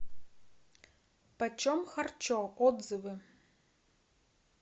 почем харчо отзывы